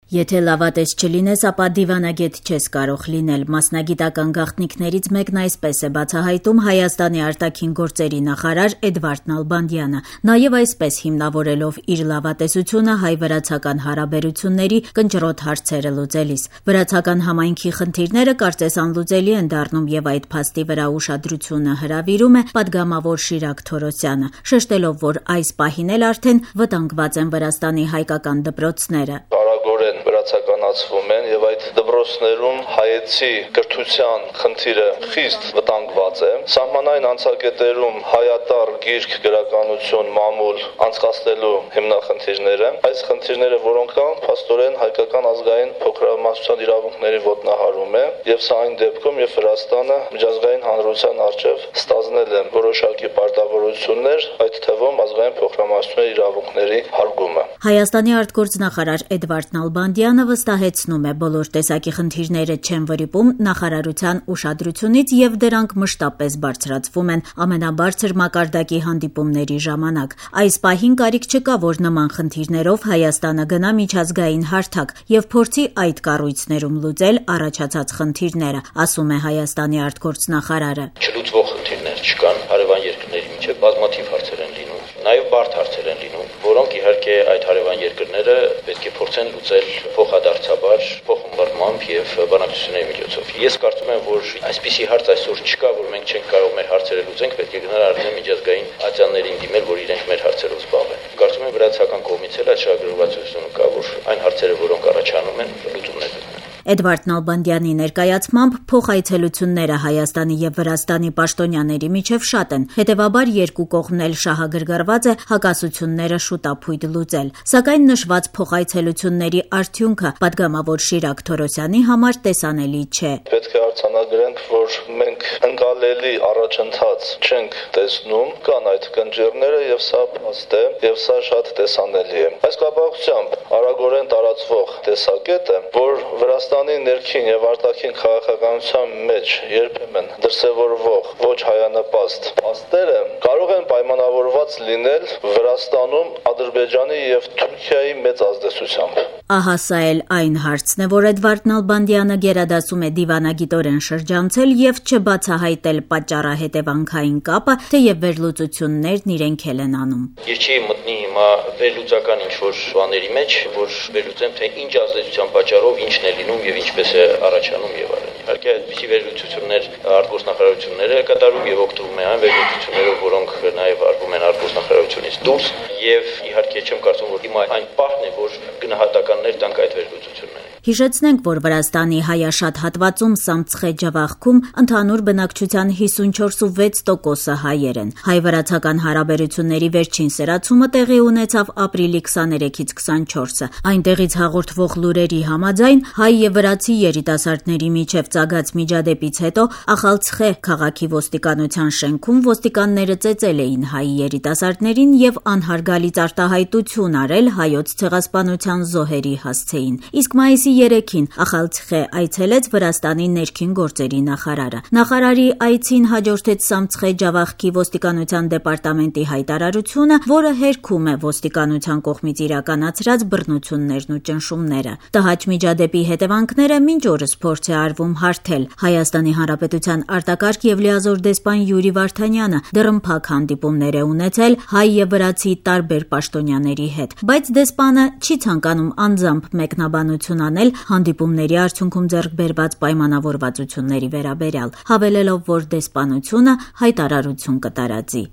«Եթե լավատես չլինենս, ապա դիվանագետ չես կարող լինել»,- մասնագիտության գաղտնիքներից մեկն այսպես է բացահայտում Հայաստանի արտաքին գործերի նախարար Էդվարդ Նալբանդյանը՝ նաեւ այսպես հիմնավորելով իր լավատեսությունը հայ-վրացական հարաբերությունների կնճռոտ հարցերը լուծելիս: Վրացական համայնքի խնդիրները, կարծես, անլուծելի են դառնում եւ այդ փաստի վրա ուշադրությունը հրավիրում է պատգամավոր Շիրակ Թորոսյանը՝ շեշտելով, որ այս պահին էլ արդեն վտանգված են Վրաստանի հայկական դպրոցները: «Արագորեն վրացականացվում են եւ այդ դպրոցներում հայեցի կրթության խնդիրը խիստ վտանգված է: Սահմանային անցակետերում հայատառ գիրք, գրականություն, մամուլ անցկացնելու հիմնախնդիրները: Այս խնդիրները, որ կան, փաստորեն, հայկական ազգային փոքրամասնության իրավունքների ոտնահարում է, եւ սա այն դեպքում, երբ Վրաստանը միջազգային հանրության առջեւ ստանձնել է որոշակի պարտավորություններ, այդ թվում ազգային փոքրամասնությունների իարվունքների հարգումը»: Հայաստանի արտգործնախարար Էդվարդ Նալբանդյանը վստահեցնում է՝ բոլոր տեսակի խնդիրները չեն վրիպում նախարարության ուշադրությունից եւ դրանք մշտապես բարձրացվում են ամենաբարձր մակարդակի հանդիպումների ժամանակ: «Այս պահին կարիք չկա, որ նման խնդիրներով Հայաստանը գնա միջազգային հարթակ եւ փորձի այդ կառույցներում լուծել առաջացած խնդիրները»,- ասում է Հայաստանի արտգործնախարարը: «Չլուծվող խնդիրներ չկան: Հարեւան երկրների միջեւ բազմաթիվ հարցեր են լինում, նաեւ բարդ հարցեր են լինում, որոնք իհարկե, այդ հարեւան երկրները պետք է փորձեն լուծել փոխադարձաբար՝ փոխըմբռնմամբ եւ բանակցությունների միջոցով: Ես կարծում եմ, որ այդպիսի հարց այսօր չկա, որ մենք չենք կարող մեր հարցերը լուծել եւ պետք է գնանք միջազգային ատյաններիրն դիմենք, որ իրենք մեր հարցերով զբաղվեն: Կարծում եմ, Վրացական կողմից էլ այդ շահագրգռվածությունը կա, որ այն հարցերը, որոնք առաջանում են, լուծումներ գտնեն»: Էդվարդ Նալբանդյանի ներկայացմամբ՝ փոխայցելությունները Հայաստանի եւ Վրաստանի պաշտոնյաների միջեւ շատ են, հետեւաբար՝ երկու կողմ էլ շահագրգռված է հակասությունները շուտափույթ լուծել: Սակայն, նշված փոխայցելությունների արդյունքը պատգամավոր Շիրակ Թորոսյանի համար տեսանելի չէ: «Պետք է արձանագրենք, որ մենք ընկալելի առաջընթաց չենք տեսնում: Կան այդ կնճիռները եւ դա փաստ է եւ սա շատ տեսանելի է: Այս կապակցությամբ արագորեն տարածվող տեսակետ է, որ Վրաստանի ներքին եւ արտաքին քաղաքականության մեջ երբեմն դրսեւորվող ոչ հայանպաստ փաստերը կարող են պայմանավորված լինել Վրաստանում Ադրբեջանի եւ թուրքիայի մեծ ազդեցությամբ»: Ահա սա էլ այն հարցն է, որ Էդվարդ Նալբանդյանը գերադասում է դիվանագիտորեն շրջանցել եւ չբացահայտել պատճառահետեւանքային կապը, թեեւ վերլուծություններն իրենք էլ են անում: «Ես չէի մտնի հիմա վերլուծական ինչ որ բաների մեջ, որ վերլուծեմ՝ ինչ ազդեցության պատճառով ինչ է լինում, ինչպես է առաջանում եւ այլն: Իհարկե, այդպիսի վերլուծություններ արտգործնախարարությունն էլ է կատարում եւ օգտվում է այն վերլուծություններից, որոնք արվում են արտգործնախարարությունից դուրս եւ չեմ կարծում, որ հիմա այն պահն է, որ գնահատականներ տանք այդ վերլուծություններին»: Հիշեցնենք, որ Վրաստանի հայաշատ հատվածում՝ Սամցխե-Ջավախքում ընդհանուր բնակչության 54,6 տոկոսը հայեր են: Հայ-վրացական հարաբերությունների վերջին սրացումը տեղի ունեցավ ապրիլի 23-ից 24: Այնտեղից հաղորդվող լուրերի համաձայն՝ հայ եւ վրացի երիտասարդների միջեւ ծագած միջադեպից հետո Ախալցիխե քաղաքի ոստիկանության շենքում ոստիկանները ծեծել էին հայ երիտասարդներին եւ անհարգալից արտահայտություն արել Հայոց Ցեղասպանության զոհերի հասցեին: Իսկ մայիսի 3-ին Ախալցիխե այցելեց Վրաստանի ներքին գործերի նախարարը: Նախարարի այցին հաջորդեց Սամցխե-Ջավախքի ոստիկանության դեպարտամենտի հայտարարությունը, որը հերքում է ոստիկանության կողմից իրականացրած բռնություններն ու ճնշումները: Տհաճ միջադեպի հետեւանքները մինչ օրս փորձ է արվում հարթել: Հայաստանի Հանրապետության արտակարգ եւ լիազոր դեսպան Յուրի Վարդանյանը դռնփակ հանդիպումներ է ունեցել հայ եւ վրացի տարբեր պաշտոնյանների հետ: Բայց դեսպանը չի ցանկանում անձամբ մեկնաբանություն անել հանդիպումների արդյունքում ձեռք բերված պայմանավորվածությունների վերաբերյալ` հավելելով, որ դեսպանությունը հայտարարություն կտարածի: